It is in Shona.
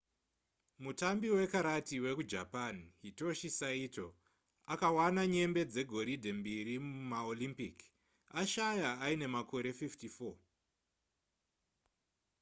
mutambi wekarati wekujapan hitoshi saito akawana nyembe dzegoridhe mbiri mumaolympic ashaya aine makore 54